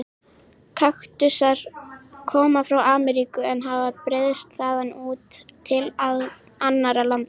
Kaktusar koma frá Ameríku en hafa breiðst þaðan út til annarra landa.